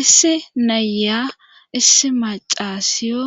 Issi nayya issi macasiyo